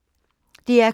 DR K